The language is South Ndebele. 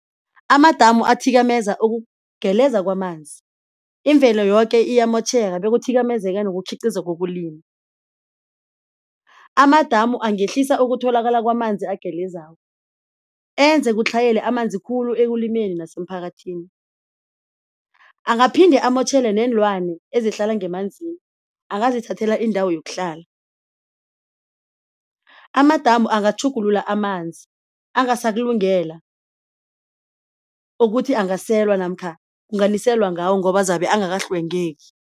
Amadamu athikameza ukugeleza kwamanzi imvelo yoke iyamotjheka bekuthikamezeka nokukhiqiza kokulima. Amadamu angehlisa ukutholakala kwamanzi agelezako enze kutlhayele amanzi khulu ekulimeni nasemphakathini. Angaphinde amotjhele neenlwane ezihlala ngemanzini angazithathela indawo yokuhlala. Amadamu angatjhugulula amanzi angasakulungela ukuthi angaselwa namkha kunganiselwa ngawo ngoba zabe angakahlwengeki.